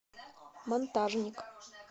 монтажник